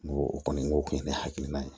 N go o kɔni n k'o kun ye ne hakilina ye